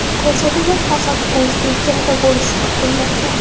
Ko‘rsatuvlar faqat o‘zbek tilida bo‘lishi kutilmoqda.